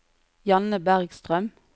Janne Bergstrøm